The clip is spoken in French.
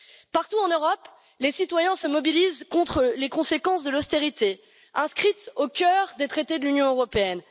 Partout en Europe, les citoyens se mobilisent contre les conséquences de l'austérité, inscrite au cœur des traités de l'Union européenne.